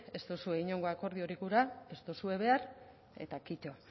ez duzue inongo akordiorik gura ez dozue behar eta kito